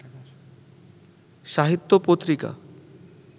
সাহিত্য পত্রিকা